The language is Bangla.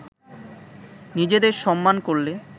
নিজেদের সম্মান করলে